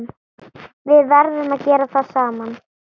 Við gerum það saman.